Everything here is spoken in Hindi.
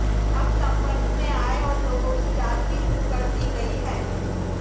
अब संपर्क में आए और लोगों की जांच भी शुरू कर दी गई है